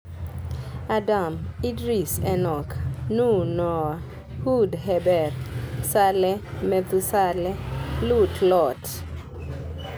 Adam, Idris (Enoch), Nuh (Noah), Hud (Heber), Saleh (Methusaleh), Lut (Lot).